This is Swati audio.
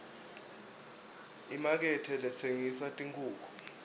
imakethe letsengisa tinkhukhu